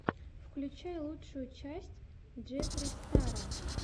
включай лучшую часть джеффри стара